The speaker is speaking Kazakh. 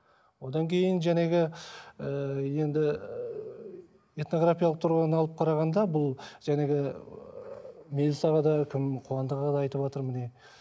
одан кейін ыыы енді ыыы этнографиялық тұрғыны алып қарағанда бұл ыыы мелс аға да кім қуандық аға да айтыватыр міне